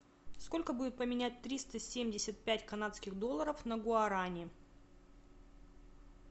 сколько будет поменять триста семьдесят пять канадских долларов на гуарани